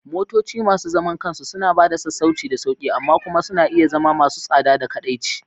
Motoci masu zaman kansu suna ba da sassauci da sauƙi, amma kuma suna iya zama masu tsada da kaɗaici.